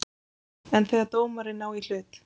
En þegar dómarinn á í hlut?